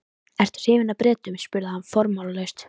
Ertu hrifinn af Bretum? spurði hann formálalaust.